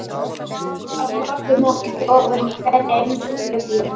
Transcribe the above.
Á morgun mokið þið ofan í hverja einustu gryfju.